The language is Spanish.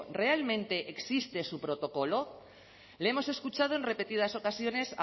realmente existe su protocolo le hemos escuchado en repetidas ocasiones